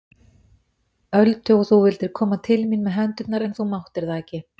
Öldu og þú vildir koma til mín með hendurnar en þú máttir það ekki.